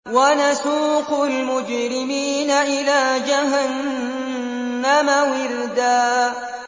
وَنَسُوقُ الْمُجْرِمِينَ إِلَىٰ جَهَنَّمَ وِرْدًا